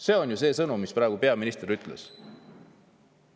See on see sõnum, mis praegu peaminister ütles.